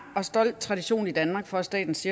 og stolt tradition i danmark for at statens